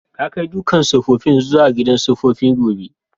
Ka kai dukan sofofin zuwa gidan sofofi gobe!